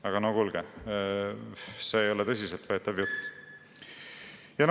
Aga no kuulge, see ei ole tõsiselt võetav jutt!